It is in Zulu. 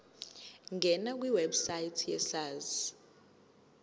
ngena kwiwebsite yesars